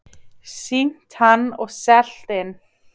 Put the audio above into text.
Sýnt hann og selt inn.